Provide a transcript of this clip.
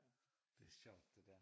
Det sjovt det der